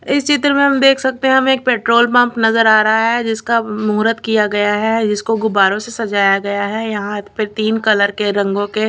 इस चित्र में हम देख सकते हैं हम एक पेट्रोल पंप नजर आ रहा है जिसका मुहरत किया गया है जिसको गुब्बारों से सजाया गया है यहां पे तीन कलर के रंगों के--